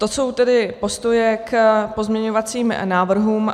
To jsou tedy postoje k pozměňovacím návrhům.